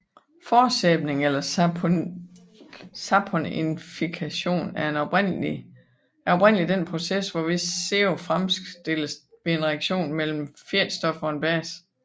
Forsæbning eller saponifikation er oprindelig den proces hvorved sæbe fremstilles ved en reaktion mellem et fedtstof og en base